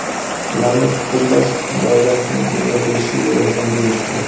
ularni fikrlash doirasini kengaytirishiga yordam berishdir.